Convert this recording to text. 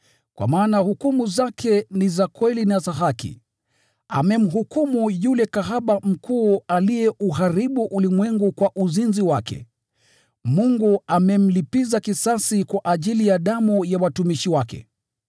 kwa maana hukumu zake ni za kweli na za haki. Amemhukumu yule kahaba mkuu aliyeuharibu ulimwengu kwa uzinzi wake. Mungu amemlipiza kisasi kwa ajili ya damu ya watumishi wake.”